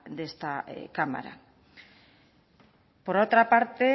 de esta cámara por otra parte